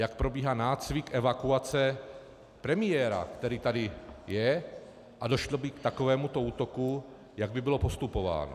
Jak probíhá nácvik evakuace premiéra, který tady je, a došlo by k takovémuto útoku, jak by bylo postupováno.